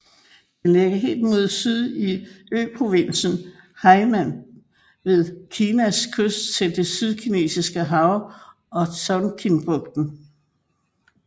Den ligger helt mod syd i øprovinsen Hainan ved Kinas kyst til det Sydkinesiske Hav og Tonkinbugten